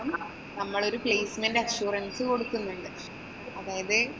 നമ്മളൊരു placement assurance കൊടുക്കുന്നുണ്ട്. അതായത്,